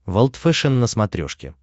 волд фэшен на смотрешке